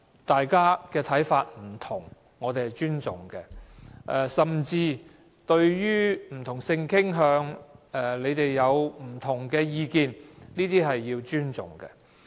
大家看法不同，我們尊重，甚至對於不同性傾向，其他議員有不同意見，我們也須要尊重。